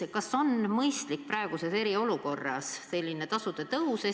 Kas praeguses eriolukorras on mõistlik selline tasude tõus?